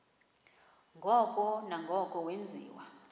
ngoko nangoko wenziwa